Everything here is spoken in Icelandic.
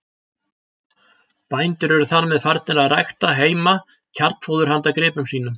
Bændur eru þar með farnir að rækta heima kjarnfóður handa gripum sínum.